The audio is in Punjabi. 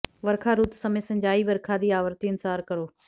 ਵਰਖਾ ਰੁੱਤ ਸਮੇਂ ਸਿੰਚਾਈ ਵਰਖਾ ਦੀ ਆਵਰਤੀ ਅਨੁਸਾਰ ਕਰੋ